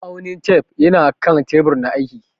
Ma'aunin tef yana kan teɓur na aiƙi.